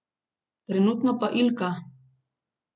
Trenutno pa Ilka.